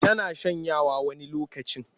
Tana shanyawa wani lokacin.